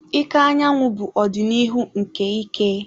Ike anyanwụ bụ ọdịnihu nke ike.